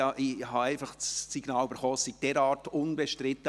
Ich hatte einfach das Signal bekommen, es sei derart unbestritten.